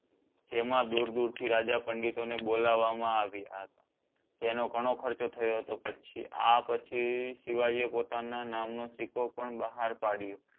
જેમાં દૂર દૂર થી રાજ પંડિતો ને બોલવામાં આવ્ય હતા. તેનો ઘણો ખર્ચો થયો હતો પછી આ પછી શિવજી આ પોતાનો નામ નો સિક્કો પણ બહાર પડિયો